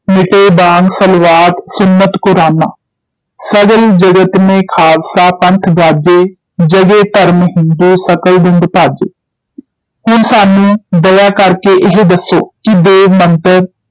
ਮਿਟੇ ਬਾਂਗ ਸਲਵਾਤ ਸੁੰਨਤ ਕੁਰਾਨਾਂ, ਸਗਲ ਜਗਤ ਮੇਂ ਖਾਲਸਾ ਪੰਥ ਗਾਜੈ, ਜਗੈ ਧਰਮ ਹਿੰਦੂ ਸਕਲ ਦੰਦ ਭਾਜੈ ਹੁਣ ਸਾਨੂੰ ਦਇਆ ਕਰ ਕੇ ਇਹ ਦੱਸੋ, ਕਿ ਦੇਵ ਮੰਤਰ,